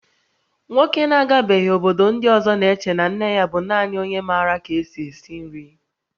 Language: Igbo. Nwoke na-agabeghị obodo ndị ọzọ na-eche na nne ya bụ naanị onye maara ka-esi esi nri